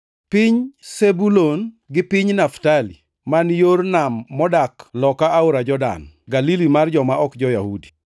“Piny Zebulun gi piny Naftali, man Yor Nam modak loka aora Jordan, Galili mar joma ok jo-Yahudi,